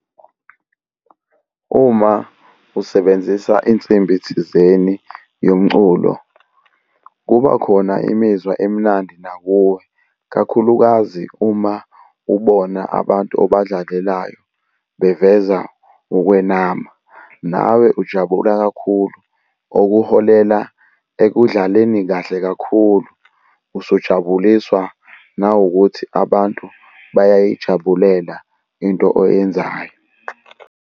Uma usebenzisa insimbi thizeni yomculo, kuba khona imizwa emnandi nakuwe, kakhulukazi uma ubona abantu obadlalelayo beveza ukwenama nawe ujabula kakhulu, okuholela ekudlaleni kahle kakhulu, usujabuliswa nawukuthi abantu bayayijabulela into oyenzayo.